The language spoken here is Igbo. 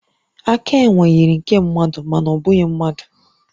Aka enwe yiri nke mmadụ, mana ọ bụghị mmadụ